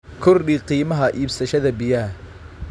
Kordhi qiimaha iibsashada biyaha.